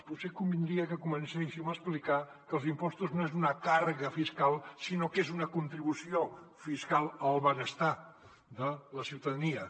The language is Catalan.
potser convindria que comencéssim a explicar que els impostos no són una càrrega fiscal sinó que són una contribució fiscal al benestar de la ciutadania